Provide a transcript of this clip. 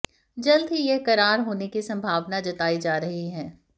जल्द ही यह करार होने की संभावना जताई जा रही है